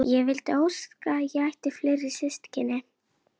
Jófríður, bókaðu hring í golf á sunnudaginn.